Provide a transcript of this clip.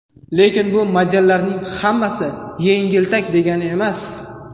Lekin bu modellarning hammasi yengiltak degani emas.